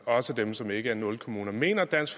også dem som ikke er nulkommuner mener dansk